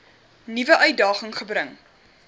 nuwe uitdaging gebring